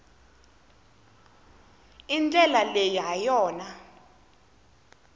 i ndlela leyi ha yona